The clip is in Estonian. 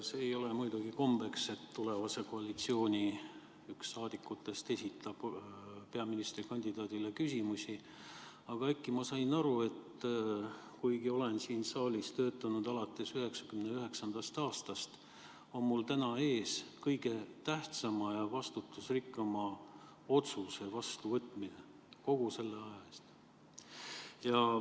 See ei ole muidugi kombeks, et keegi tulevase koalitsiooni saadikutest esitab peaministrikandidaadile küsimusi, aga äkki ma sain aru, et kuigi ma olen siin saalis töötanud alates 1999. aastast, on mul täna ees kõige tähtsama ja vastutusrikkama otsuse vastuvõtmine kogu sellel ajal.